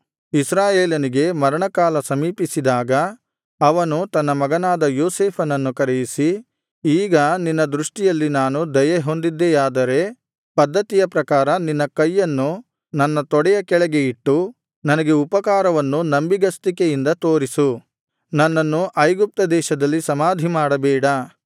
ಇಸ್ರಾಯೇಲನಿಗೆ ಮರಣಕಾಲ ಸಮೀಪಿಸಿದಾಗ ಅವನು ತನ್ನ ಮಗನಾದ ಯೋಸೇಫನನ್ನು ಕರೆಯಿಸಿ ಈಗ ನಿನ್ನ ದೃಷ್ಟಿಯಲ್ಲಿ ನಾನು ದಯೆ ಹೊಂದ್ದಿದೆಯಾದ್ದರೆ ಪದ್ದತಿಯ ಪ್ರಕಾರ ನಿನ್ನ ಕೈಯನ್ನು ನನ್ನ ತೊಡೆಯ ಕೆಳಗೆ ಇಟ್ಟು ನನಗೆ ಉಪಕಾರವನ್ನು ನಂಬಿಗಸ್ತಿಕೆಯಿಂದ ತೋರಿಸು ನನ್ನನ್ನು ಐಗುಪ್ತದೇಶದಲ್ಲಿ ಸಮಾಧಿ ಮಾಡಬೇಡ